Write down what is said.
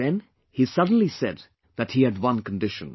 But then he suddenly said that he had one condition